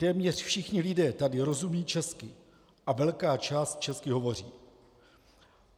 Téměř všichni lidé tady rozumějí česky a velká část česky hovoří.